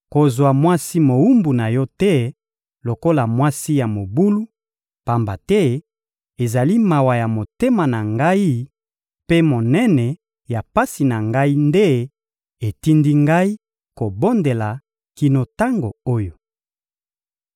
Kozwa mwasi mowumbu na yo te lokola mwasi ya mobulu, pamba te ezali mawa ya motema na ngai mpe monene ya pasi na ngai nde etindi ngai kobondela kino tango oyo.